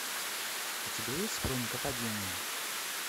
у тебя есть хроника падения